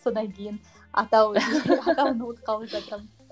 содан кейін атау атауын ұмытып қалып жатырмын